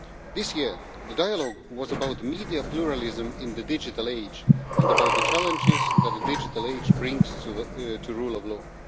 This year the dialogue was about media pluralism in the digital age and about the challenges that the digital age brings to the rule of law.